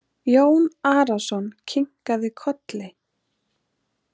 Jón Arason kinkaði kolli.